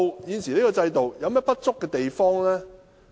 現時香港的制度有何不足之處呢？